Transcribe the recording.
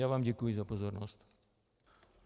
Já vám děkuji za pozornost.